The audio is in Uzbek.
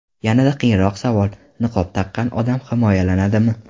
Yanada qiyinroq savol: niqob taqqan odam himoyalanadimi?